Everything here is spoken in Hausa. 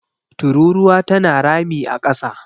tururuwa tana rami a kasa